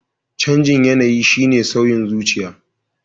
Canjin yanayi shine sauyin zuciya.